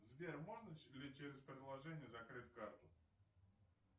сбер можно ли через приложение закрыть карту